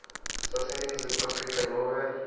saseningizimu afrika nobe